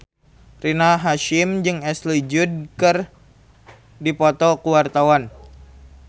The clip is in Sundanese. Rina Hasyim jeung Ashley Judd keur dipoto ku wartawan